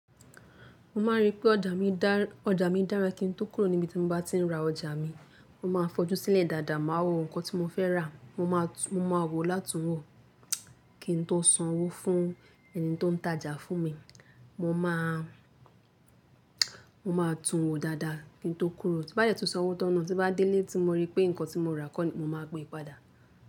Mo máa ń rí pé ọjà mi dá, ọjà mi dára kí n tó kúrò níbi tí mo bá ti ń ra ọjà mi. Mo máa fojú sílẹ̀ dáadáa, máa wo nǹkan tí mo fẹ́ rà, mo máa tu-- mo máa wòó látùn wòó kín n tó san owó fún ẹni tí ó ń tajà fún mi. Mo máa, mo máa tun wòó dáadáa kín n tó kúrò. Sí bá dẹ tun san owó tán náà tí bá délé tí mo rí pé nǹkan tí mo rà kọ́ ní, mo máa gbe e padà.